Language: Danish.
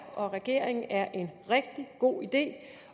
og regeringen at er en rigtig god idé